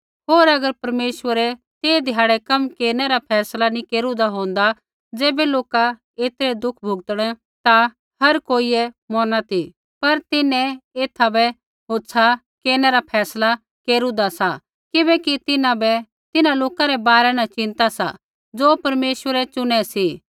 होर अगर परमेश्वरै ते ध्याड़ै कम केरनै रा फैसला नी केरुदा होंदा ज़ैबै लोका ऐतरै दुःख भुगतणै ता हर कोइयै मौरना ती पर तिन्हैं एथा बै होछ़ा केरनै रा फैसला केरुदा सा किबैकि तिन्हां बै तिन्हां लोका रै बारै न चिन्ता सा ज़ो परमेश्वरै चुनै सी